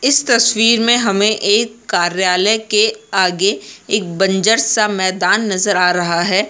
इस तस्वीर में हमे एक कार्यालय के आगे एक बंजर सा मैदान नज़र आ रहा हैं।